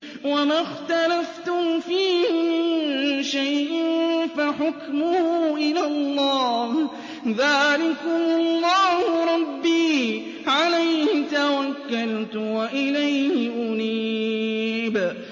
وَمَا اخْتَلَفْتُمْ فِيهِ مِن شَيْءٍ فَحُكْمُهُ إِلَى اللَّهِ ۚ ذَٰلِكُمُ اللَّهُ رَبِّي عَلَيْهِ تَوَكَّلْتُ وَإِلَيْهِ أُنِيبُ